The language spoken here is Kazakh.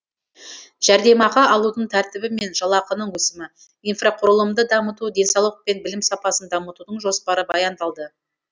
жәрдемақы алудың тәртібі мен жалақының өсімі инфрақұрылымды дамыту денсаулық пен білім сапасын дамытудың жоспары баяндалды